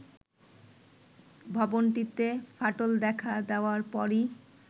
ভবনটিতে ফাটল দেখা দেয়ার পরই